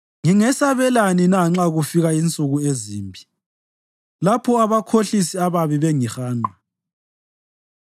Ngingesabelani na nxa kufika insuku ezimbi, lapho abakhohlisi ababi bengihanqa,